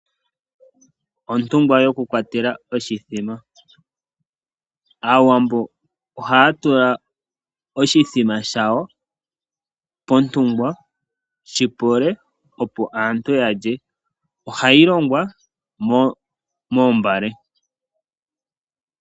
Ontungwa yoku kwatela oshithima. Aawambo ohaa tula oshithima shawo pontungwa shi pole, opo aantu ya lye. Oha yi longwa moombale.